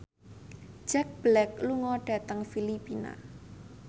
Jack Black lunga dhateng Filipina